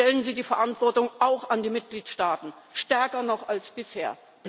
Stellen Sie die Verantwortung auch an die Mitgliedstaaten, stärker noch als bisher!